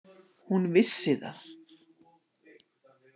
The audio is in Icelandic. Hún vissi það.